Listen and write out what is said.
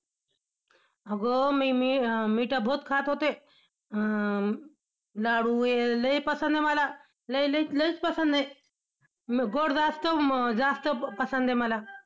अगं मी, मी~मिठ्ठा बहुत खात होते अं लाडू, हे लय पसंद आहे मला. लय लय लयच पसंद आहे. गोड जास्त अं जास्त पसंद आहे मला.